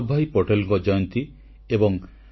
• ଭାରତୀୟ ପୁରୁଷ ହକି ଟିମକୁ ଜଣାଇଲେ ଶୁଭେଚ୍ଛା